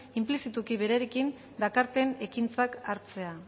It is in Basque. inplizituki berarekin dakarten ekintzak hartzea